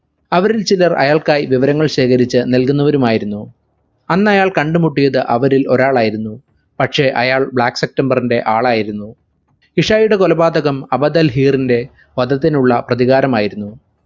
അവരിൽ ചിലർ അയാൾക്കായി വിവരങ്ങൾ ശേഖരിച്ചു നൽകുന്നവരും ആയിരുന്നു. അന്നയാൾ കണ്ടുമുട്ടിയത് അവരിൽ ഒരാളായിരുന്നു പക്ഷെ അയാൾ black september ന്റെ ആളായിരുന്നു ഇശായിയുടെ കൊലപാതകം അബദൽ ഹീറിന്റെ വധത്തിനുള്ള പ്രതികാരമായിരുന്നു